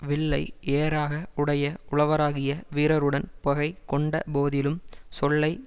வில்லை ஏராக உடைய உழவராகிய வீரருடன் பகை கொண்ட போதிலும் சொல்லை